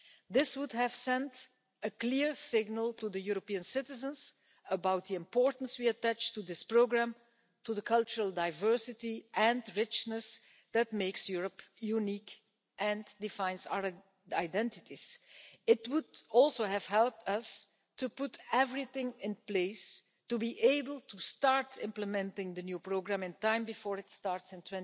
This would have sent a clear signal to the European citizens about the importance we attach to this programme and to the cultural diversity and richness that makes Europe unique and defines our identities. It would also have helped us to put everything in place to be able to start implementing the new programme in time before it starts in